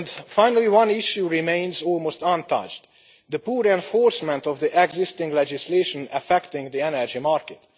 Finally, one issue remains almost untouched the poor enforcement of the existing legislation affecting the energy market.